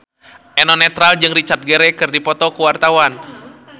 Eno Netral jeung Richard Gere keur dipoto ku wartawan